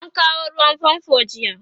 an kawo ruwan fanfo jiya